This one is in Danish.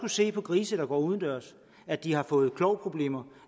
se på grise der går udendørs at de har fået klovproblemer